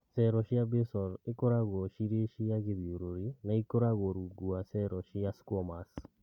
Cero cia Basal ikoragwo cirĩ cia gĩthiũrũrĩ na ikoragwo rungu rwa cero cia squamous